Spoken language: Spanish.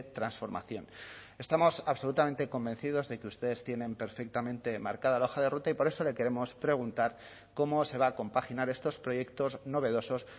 transformación estamos absolutamente convencidos de que ustedes tienen perfectamente marcada la hoja de ruta y por eso le queremos preguntar cómo se va a compaginar estos proyectos novedosos